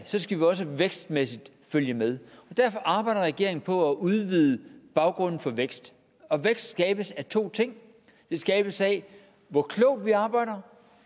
så skal vi også vækstmæssigt følge med derfor arbejder regeringen på at udvide baggrunden for vækst og vækst skabes af to ting den skabes af hvor klogt vi arbejder